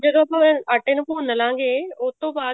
ਜਦੋਂ ਆਪਾਂ ਆਟੇ ਨੂੰ ਭੁੰਨ ਲਵਾਂਗੇ ਉਹਤੋਂ ਬਾਅਦ